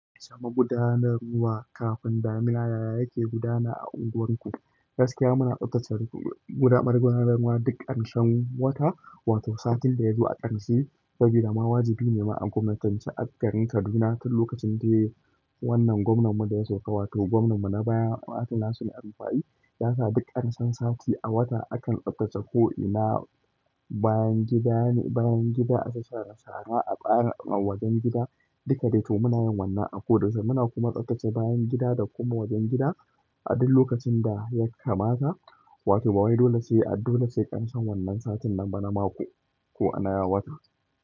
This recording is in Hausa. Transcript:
Samu gudanarwa ruwa, kafin damina yaya yake gudana a unguwarku. Gaskiya muna tsattsatsa gudanarwar duk ƙarshen wata, wato satin da ya zo a ƙarshe. Sabida ma wajibi ne ma a gwamnatin shekarar Kaduna duk lokacin da wannan gwamnanmu da ya sauka, wato gwamnanmu na baya Atinasun Amfayi, ya sa duk ƙarshen sati a wata akan tsattsace ko ina bayan gida ne, bayan gida, asasara, sara a bayan wajen gida. Duka dai tuh muna yin wannan a ko da su muna kuma tsattsace bayan gida da kuma wajen gida a duk lokacin da ya kamata. Wato ba wai dole sai a dole sai ƙarshen wannan satin nan ba na mako ko a na wata.